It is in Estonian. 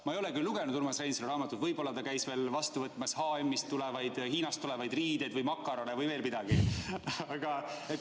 Ma ei ole Urmas Reinsalu raamatut küll veel lugenud, võib-olla ta käis vastu võtmas ka H&M-ist või Hiinast tulevaid riideid ja makarone või veel midagi.